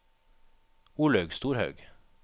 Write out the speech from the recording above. Olaug Storhaug